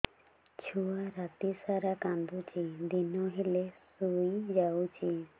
ଛୁଆ ରାତି ସାରା କାନ୍ଦୁଚି ଦିନ ହେଲେ ଶୁଇଯାଉଛି